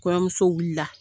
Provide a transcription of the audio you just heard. Kɔɲɔmuso wuli la.